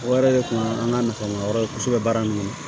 O yɛrɛ de kun ye an ka nafa ye kosɛbɛ baara in kɔnɔ